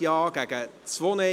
2018.RRGR.692;